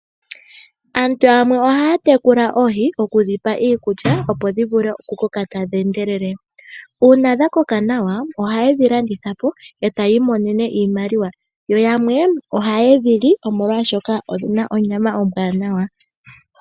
Aantu yamwe ohaa tekula oohi okudhipa iikulya opo dhivule oku koka tadhi endelele, uuna dha koka nawa ohaye dhi landithapo eta yii monene iimaliwa, yo yamwe ohaye dhili omolwa shoka odhina onyama ombwanawa.